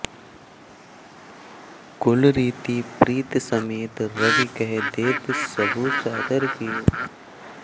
कुल रीति प्रीति समेत रबि कहि देत सबु सादर कियो